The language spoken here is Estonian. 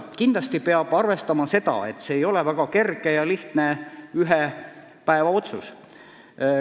Kindlasti peab arvestama seda, et tegu ei ole väga kerge ühepäevaotsusega.